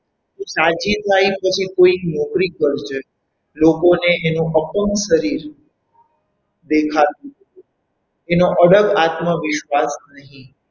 તું સાજી થાય પછી કોઈ નોકરી કરજે લોકોને એનું અપંગ શરીર દેખાતું હતું એનો અડગ આત્મવિશ્વાસ નહીં.